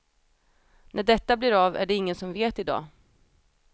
När detta blir av är det ingen som vet idag.